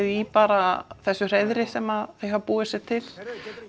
í bara þessu hreiðri sem þau hafa búið sér til